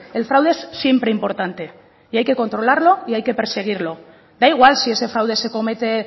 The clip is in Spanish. el fraude es siempre importante y hay que controlarlo y hay que perseguirlo da igual si ese fraude se comete